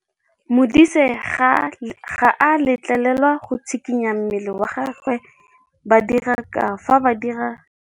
Modise ga a letlelelwa go tshikinya mmele wa gagwe fa ba dira karô.